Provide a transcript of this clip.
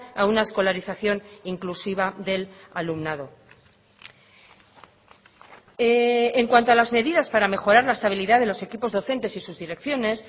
a una escolarización inclusiva del alumnado en cuanto a las medidas para mejorar la estabilidad de los equipos docentes y sus direcciones